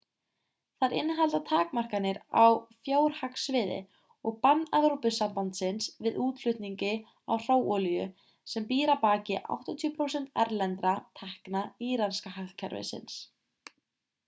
þær innihalda takmarkanir á fjárhagssviði og bann evrópusambandsins við útflutningi á hráolíu sem býr að baki 80% erlendra tekna íranska hagkerfisins